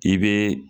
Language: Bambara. I bɛ